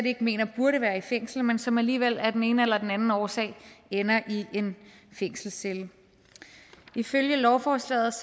ikke mener burde være i fængsel men som alligevel af den ene eller anden årsag ender i en fængselscelle ifølge lovforslaget